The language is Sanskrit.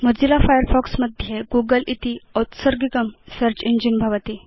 मोजिल्ला फायरफॉक्स मध्ये गूगल इति औत्सर्गिकं सेऽर्च इञ्जिन भवति